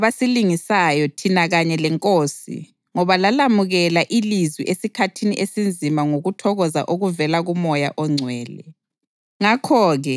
Lina laba ngabasilingisayo thina kanye leNkosi ngoba lalamukela ilizwi esikhathini esinzima ngokuthokoza okuvela kuMoya oNgcwele.